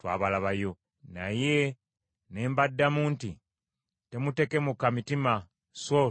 Naye ne mbaddamu nti, “Temutekemuka mitima, so temubatya.